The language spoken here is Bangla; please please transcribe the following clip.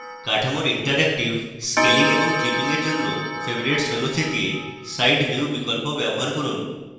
কাঠামোর interactive scaling এবং clipping for জন্য: favorites menu থেকে side view বিকল্প ব্যবহার করুন